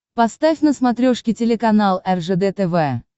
поставь на смотрешке телеканал ржд тв